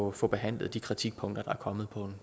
at få behandlet de kritikpunkter der er kommet på